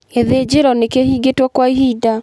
Gĩthĩnjĩro nĩkĩhingĩtwo kwa ihinda.